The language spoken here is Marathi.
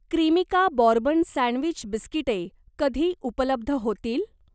क्रीमिका बॉर्बन सँडविच बिस्किटे कधी उपलब्ध होतील?